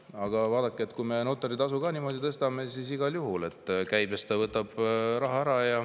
Aga vaadake, kui me notari tasu ka niimoodi tõstame, siis see igal juhul käibest võtab raha ära.